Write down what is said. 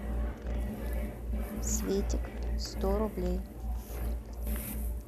светик сто рублей